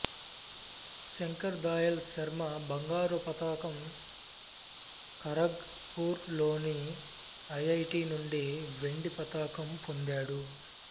శంకర్ దయాళ్ శర్మ బంగారు పతకం ఖరగ్ పూర్ లోని ఐఐటి నుండి వెండి పతకం పొందారు